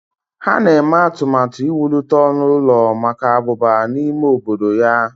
Ha na-eme atụmatụ iwulite ọnụ ụlọ maka abụba n'ime obodo ya.